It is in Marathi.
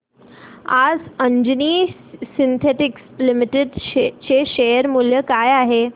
आज अंजनी सिन्थेटिक्स लिमिटेड चे शेअर मूल्य काय आहे